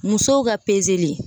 Musow ka pezeli